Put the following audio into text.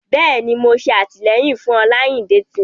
Bẹ́ẹ̀ni, Mo ṣe atilẹyin fun ọnlayin detin.